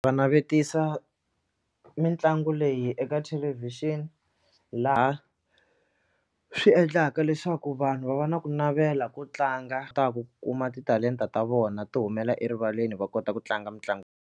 Va navetisa mitlangu leyi eka thelevhixini laha swi endlaka leswaku vanhu va va na ku navela ku tlanga ta ku kuma titalenta ta vona ti humela erivaleni va kota ku tlanga mitlangu.